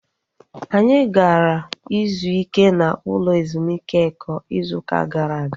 Anyị gara ịzụ ike n'ụlọ ezumike Eko ịzụ ụka gara aga